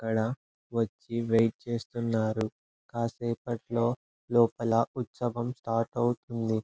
ఇక్కడ వచ్చి వెయిట్ చేస్తున్నారు. కాసేపట్లో లోపల ఉత్సవం స్టార్ట్ అవుతుంది.